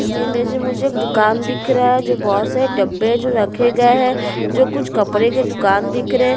इस इमेज में मुझे एक दुकान दिख रहा है जो बहोत सारा डब्बे जो रखे गए है जो कुछ कपड़े के दुकान दिख रहे--